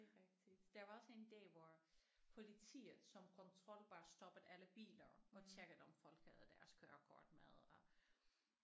Det er rigtigt der var også en dag hvor politiet som kontrol bare stoppede alle biler og tjekkede om folk havde deres kørekort med og